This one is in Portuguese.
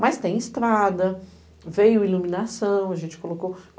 Mas tem estrada, veio iluminação, a gente colocou.